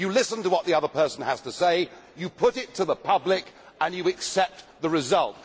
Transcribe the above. You listen to what the other person has to say, you put it to the public and you accept the result.